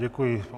Děkuji.